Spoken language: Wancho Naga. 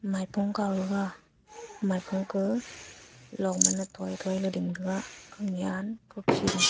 maipua kao gaga maipua ka long mane thoi thoi la ding taga hunya hukhi le.